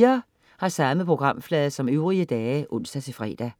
Samme programflade som øvrige dage (ons-fre)